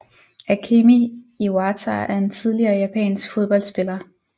Akemi Iwata er en tidligere japansk fodboldspiller